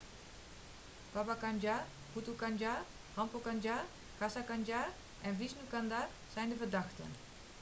baba kanjar bhutha kanjar rampro kanjar gaza kanjar en vishnu kanjar zijn de verdachten